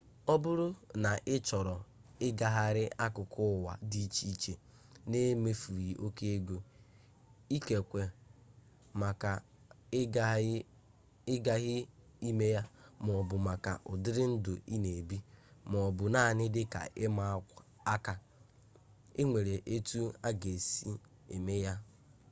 ọ bụrụ na ị chọrọ ịgagharị akụkụ ụwa di iche iche n'emefughi oke ego ikekwe maka ịghaghị ime ya maọbụ maka ụdịrị ndụ i na-ebi maọbụ naanị dịka ịma aka enwere etu a ga-esi eme ya